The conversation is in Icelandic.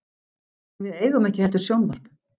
En við eigum ekki heldur sjónvarp.